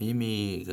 Mimi